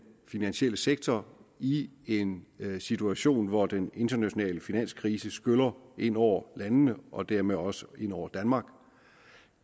finansielle sektor i en situation hvor den internationale finanskrise skyller ind over landene og dermed også ind over danmark